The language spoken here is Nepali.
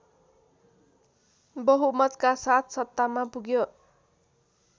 बहुमतका साथ सत्तामा पुग्यो